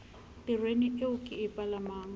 tereneng eo ke e palamang